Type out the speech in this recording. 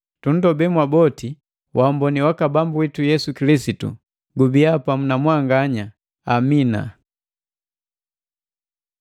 Tunndobe mwaboti waamboni waka Bambu witu Yesu Kilisitu gubiya pamu na mwanganya. Amina.